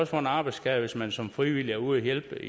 få en arbejdsskade hvis man som frivillig er ude at hjælpe